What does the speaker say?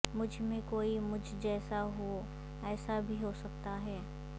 مجھ میں کوئی مجھ جیسا ہو ایسا بھی ہو سکتا ہے